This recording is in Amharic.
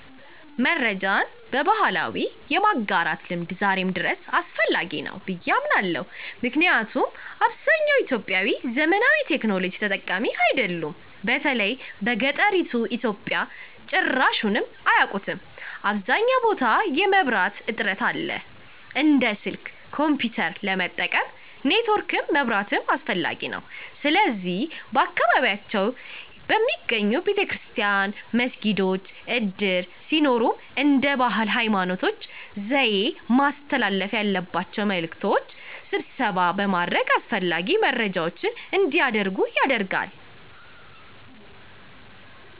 መረጃን በባህላዊ የማጋራት ልምድ ዛሬም ድረስ አስፈላጊ ናቸው ብየ አምናለሁ። ምክንያቱም አብዛኛውን ኢትዮጵያዊ ዘመናዊ ቴክኖሎጂ ተጠቃሚ አይደሉም። በተለይም በገጠሪቱ ኢትዮጵያ ጭራሹንም አያቁትም .አብዛኛውን ቦታ የመብራት እጥረት አለ። እንደ ስልክ፣ ኮንፒዩተር ለመጠቀም ኔትወርክም መብራትም አስፈላጊ ነዉ። ስለዚህ በየአካባቢያቸው በሚገኘው ቤተክርስቲያን፣ መስጊዶች፣ እድር ሲኖርም እንደየ ባህል፣ ሀይማኖት፣ ዘዬ ማስተላለፍ ያለባቸውን መልዕክት ስብሰባ በማድረግ አስፈላጊ መረጃዎች አንዲያደርጉ ይደረጋል።